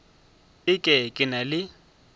e ke ke na le